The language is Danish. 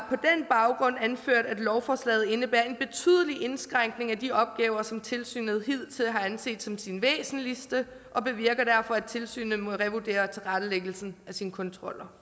anført at lovforslaget indebærer en betydelig indskrænkning af de opgaver som tilsynet hidtil har anset som sine væsentligste og bevirker derfor at tilsynet må revurdere tilrettelæggelsen af sine kontroller